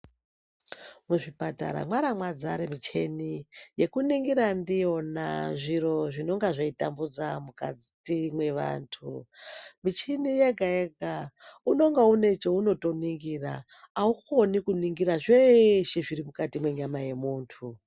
Muzvipatara mwaara mwadzare muchini yekuningira ndiyona zviro zvinonga zveitambudza mukati mwevantu. Muchini wega-wega unenge une chaunotoningira, aukoni kuningira zveeshe zvirimukati mwenyama yemuntu.